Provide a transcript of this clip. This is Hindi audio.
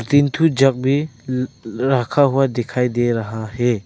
तीन थू जग भी रखा हुआ दिखाई दे रहा है।